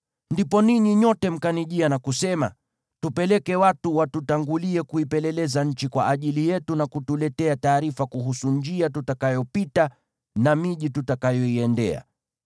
Ndipo ninyi nyote mkanijia na kusema, “Tupeleke watu watutangulie kuipeleleza nchi kwa ajili yetu, na kutuletea taarifa kuhusu njia tutakayopita, na miji tutakayoiendea.”